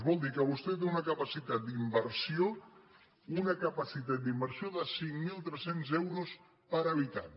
vol dir que vostè té una ca·pacitat d’inversió una capacitat d’inversió de cinc mil tres cents euros per habitant